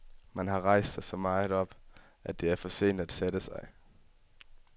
Man har rejst sig så meget op, at det er for sent at sætte sig.